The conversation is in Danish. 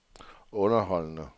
underholdende